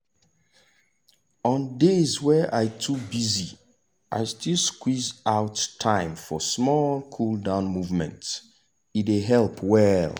on days wey i too busy i still squeeze out time for small cool-down movement e dey help well.